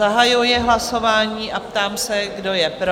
Zahajuji hlasování a ptám se, kdo je pro?